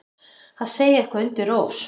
Að segja eitthvað undir rós